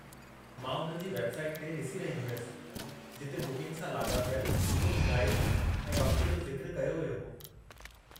मां उन्हनि जी वेब साईट ते ॾिसी रही हुयसि, जिते बुकिंग सां लाॻापियल कुझु हिदायतूं, ऐं वक़्त जो ज़िक्रु कयो वियो हो।